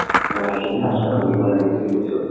মানে সেই সাজ পাৰ পিন্ধিব লাগে বুলি কৈছে।